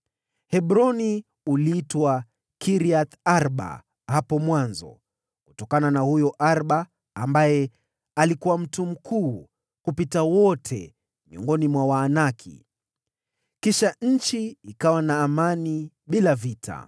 (Hebroni uliitwa Kiriath-Arba hapo mwanzo, kutokana na huyo Arba ambaye alikuwa mtu mkuu kupita wote miongoni mwa Waanaki.) Kisha nchi ikawa na amani bila vita.